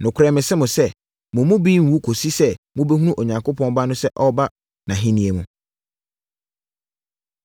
“Nokorɛ mese mo sɛ: Mo mu bi renwu kɔsi sɛ mobɛhunu Onipa Ba no sɛ ɔreba nʼahennie mu.”